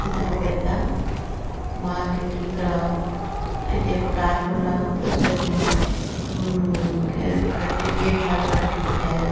ఇది ఒక పెద్ద మార్కెట్ ఇక్కడ అయితే ఒక టర్పోల్ లాగా పెద్దది ఉమ్ గే గేట్ లాగా కట్టి పెట్టారు.